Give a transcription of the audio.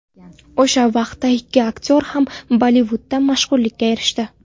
O‘sha vaqtda ikki aktyor ham Bollivudda mashhurlikka erishdi.